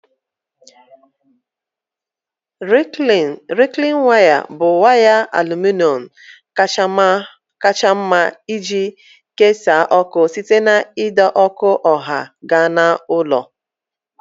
Rịklaịn waya bụ waya aluminọm kacha mma iji kesaa ọkụ site n'ide ọkụ ọha gaa na ụlọ